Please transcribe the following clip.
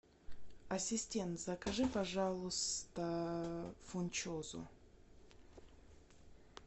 ассистент закажи пожалуйста фунчозу